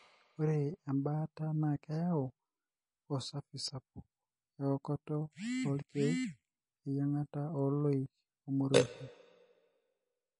ore embaata na keyieu osafi sapuk, eokoto olkek, eyiangata, oloik omorioshi.